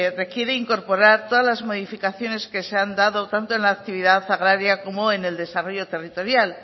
requiere incorporar todas las modificaciones que se han dado tanto en la actividad agraria como en el desarrollo territorial